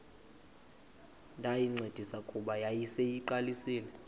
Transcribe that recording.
ndayincedisa kuba yayiseyiqalisile